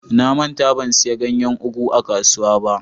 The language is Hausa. Na manta ban siya ganyen " ugu" a kasuwa ba.